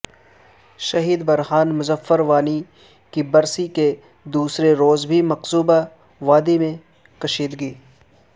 شہید برہان مظفر وانی کی برسی کے دوسرے روز بھی مقبوضہ وادی میں کشیدگی